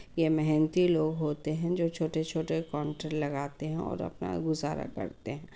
ये मेहनती लोग होते हैं जो छोटे-छोटे काउंटर लगाते हैं और अपना गुज़ारा करते हैं ।